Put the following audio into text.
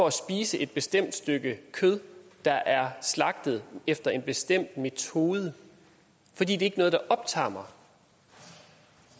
at spise et bestemt stykke kød der er slagtet efter en bestemt metode for det er ikke noget der optager mig